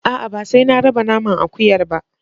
A'a ba sai na raba naman akuyar ba.